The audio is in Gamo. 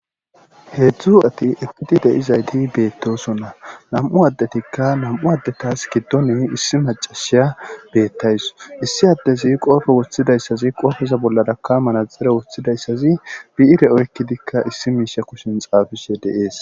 Heedzu asati eqqidi de7izayssi beettosona. Nam7u addetika nam7u addetas giddon issi maccasiya bettaws. Issi addezi qoobe wothidayssi qoobeza bollaraka manaxxire wothizayssi bi7ire oykkidikka issi miishe kushen zaafishe dees.